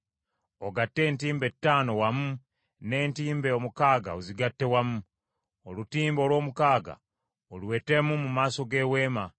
Ogatte entimbe ttaano wamu, n’entimbe omukaaga ozigatte wamu. Olutimbe olw’omukaaga oluwetemu mu maaso g’Eweema.